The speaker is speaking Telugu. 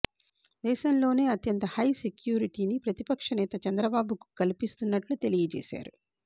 దేశంలోనే అత్యంత హై సెక్యూరిటీ ని ప్రతిపక్షనేత చంద్రబాబు కల్పిస్తున్నట్లు తెలియజేసారు